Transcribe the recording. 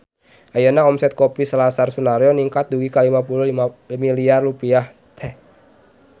Ayeuna omset Kopi Selasar Sunaryo ningkat dugi ka 50 miliar rupiah